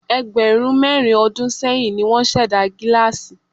Ẹgbẹ̀rún mẹ́rin ọdún sẹ́yìn ní wọ́n ṣẹ̀dá gílásì.